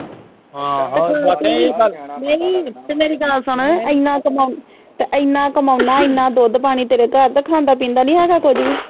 ਨਹੀਂ ਤੇ ਮੇਰੀ ਗੱਲ ਸੁਣ ਇਹਨਾਂ ਕਮਾਉਣਾ ਤੇ ਇਹਨਾਂ ਕਮਾਉਣਾ ਇਹਨਾਂ ਦੁੱਧ ਪਾਣੀ ਤੇਰੇ ਘਰ ਤੇ ਖਾਣਾ ਪੀਂਦਾ ਨੀ ਹੇਗਾ ਕੁਛ ਵੀ